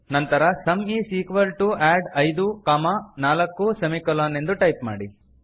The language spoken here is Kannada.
ನಂತರ sum is equal to add ಐದು ನಾಲ್ಕು ಸೆಮಿಕೊಲನ್ ಎಂದು ಟೈಪ್ ಮಾಡಿ